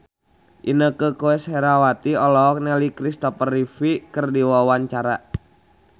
Inneke Koesherawati olohok ningali Christopher Reeve keur diwawancara